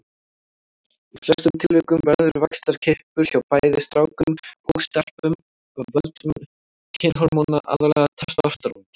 Í flestum tilvikum verður vaxtarkippur hjá bæði strákum og stelpum af völdum kynhormóna, aðallega testósteróns.